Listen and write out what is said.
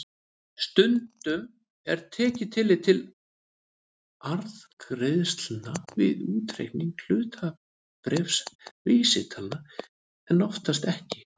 Stundum er tekið tillit til arðgreiðslna við útreikning hlutabréfavísitalna en oftast ekki.